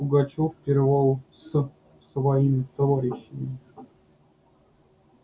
пугачёв пировал с своими товарищами